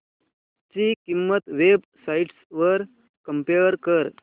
ची किंमत websites वर कम्पेअर कर